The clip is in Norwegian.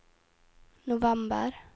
november